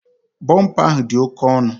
Bumper ahụ odi oke onụ?